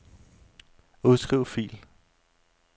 Udskriv fil.